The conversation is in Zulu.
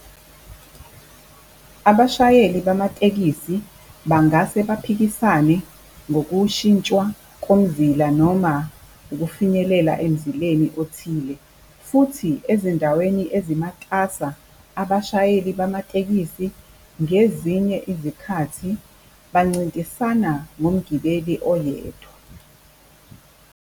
Abashayeli bamatekisi bangase baphikisane ngokushintshwa komzila noma ukufinyelela emzileni othile, futhi ezindaweni ezimatasa abashayeli bamatekisi ngezinye izikhathi bancintisana ngomgibeli oyedwa.